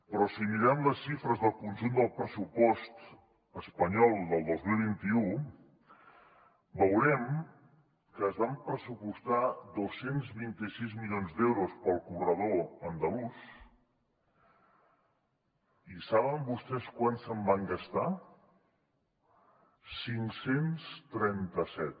però si mirem les xifres del conjunt del pressupost espanyol del dos mil vint u veurem que es van pressupostar dos cents i vint sis milions d’euros per al corredor andalús i saben vostès quants se’n van gastar cinc cents trenta set